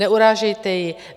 Neurážejte ji!